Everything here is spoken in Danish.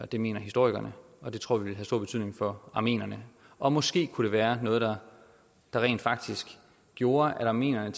det mener historikerne og det tror vi ville have stor betydning for armenierne og måske kunne det være noget der rent faktisk gjorde at armenierne